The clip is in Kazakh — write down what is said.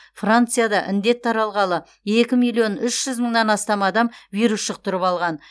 францияда індет таралғалы екі миллион үш жүз мыңнан астам адам вирус жұқтырып алған